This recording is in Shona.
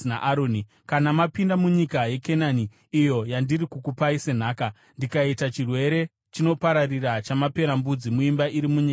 “Kana mapinda munyika yeKenani iyo yandiri kukupai senhaka, ndikaita chirwere chinopararira chamaperembudzi muimba iri munyika iyoyo,